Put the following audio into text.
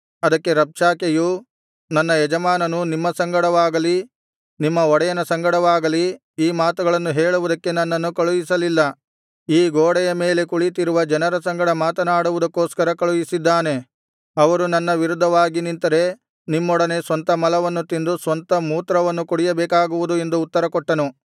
ಅದಕ್ಕೆ ರಬ್ಷಾಕೆಯು ನನ್ನ ಯಜಮಾನನು ನಿಮ್ಮ ಸಂಗಡವಾಗಲಿ ನಿಮ್ಮ ಒಡೆಯನ ಸಂಗಡವಾಗಲಿ ಈ ಮಾತುಗಳನ್ನು ಹೇಳುವುದಕ್ಕೆ ನನ್ನನ್ನು ಕಳುಹಿಸಲಿಲ್ಲ ಈ ಗೋಡೆಯ ಮೇಲೆ ಕುಳಿತಿರುವ ಜನರ ಸಂಗಡ ಮಾತನಾಡುವುದಕ್ಕೋಸ್ಕರ ಕಳುಹಿಸಿದ್ದಾನೆ ಅವರು ನನ್ನ ವಿರುದ್ಧವಾಗಿ ನಿಂತರೆ ನಿಮ್ಮೊಡನೆ ಸ್ವಂತ ಮಲವನ್ನು ತಿಂದು ಸ್ವಂತ ಮೂತ್ರವನ್ನು ಕುಡಿಯಬೇಕಾಗುವುದು ಎಂದು ಉತ್ತರಕೊಟ್ಟನು